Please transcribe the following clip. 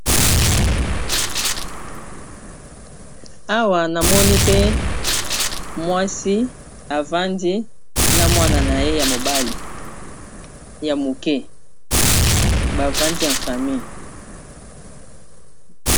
awa namoni pe mwasi evandi na mwana na ye ya mobali ya moke bavandi emfami